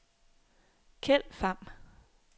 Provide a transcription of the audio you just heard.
Keld Pham